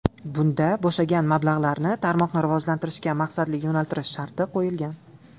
Bunda bo‘shagan mablag‘larni tarmoqni rivojlantirishga maqsadli yo‘naltirish sharti qo‘yilgan.